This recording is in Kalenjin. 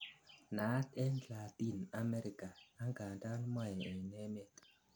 naat en Latin America angandan mo en emet